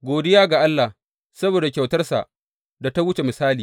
Godiya ga Allah, saboda kyautarsa da ta wuce misali!